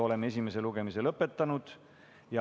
Oleme esimese lugemise lõpetanud.